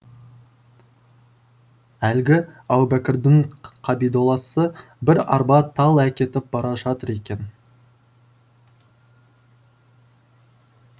әлгі әубәкірдің қамидолласы бір арба тал әкетіп бара жатыр екен